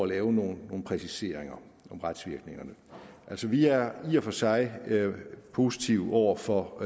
lave nogle præciseringer af retsvirkningerne vi er i og for sig positive over for